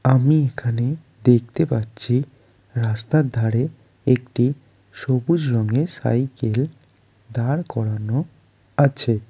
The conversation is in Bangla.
আমিই এখানে দেখতে পাচ্ছিই রাস্তার ধারে একটিই সবুজ রঙের সাইইকেল দাঁড় করানো আছে।